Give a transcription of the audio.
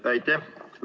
Aitäh!